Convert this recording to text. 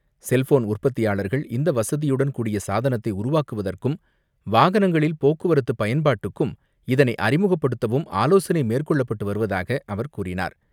Cellphone உற்பத்தியாளர்கள் இந்த வசதியுடன் கூடிய சாதனத்தை உருவாக்குவதற்கும் வாகனங்களில் போக்குவரத்து பயன்பாட்டுக்கும் இதனை அறிமுகப்படுத்தவும் ஆலோசனை மேற்கொள்ளப்பட்டு வருவதாக அவர் கூறினார்.